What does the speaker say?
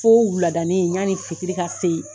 Fo wuuladani yanni fitiri ka se.